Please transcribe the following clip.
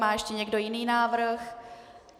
Má ještě někdo jiný návrh?